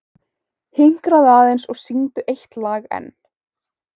Hinkraðu aðeins og syngdu eitt lag enn.